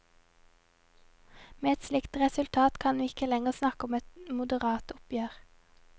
Med et slikt resultat kan vi ikke lenger snakke om et moderat oppgjør.